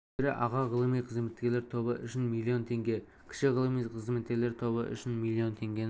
мөлшері аға ғылыми қызметкерлер тобы үшін миллион теңге кіші ғылыми қызметкерлер тобы үшін миллион теңгені